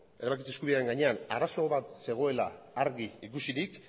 erabakitze eskubidearen gainean arazo bat zegoela argi ikusirik